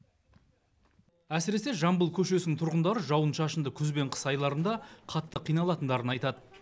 әсіресе жамбыл көшесінің тұрғындары жауын шашынды күз бен қыс айларында қатты қиналатындарын айтады